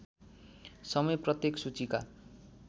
समय प्रत्येक सूचीका